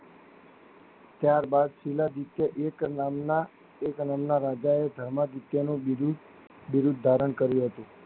ત્યારબાદ છેલ્લા દિવસે એક નામના એક નામના રાજા એ ધર્મ વિધાયા ની બિરુદ ધારણ કરી હતી.